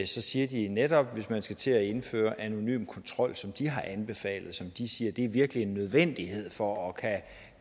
siger de at netop hvis man skal til at indføre anonym kontrol som de har anbefalet og som de siger virkelig er en nødvendighed for at